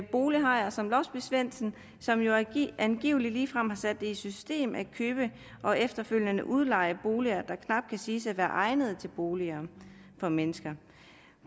bolighajer som låsby svendsen som jo angiveligt ligefrem har sat det i system at købe og efterfølgende udleje boliger der knap kan siges at være egnet til boliger for mennesker